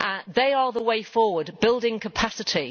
they are the way forward, building capacity.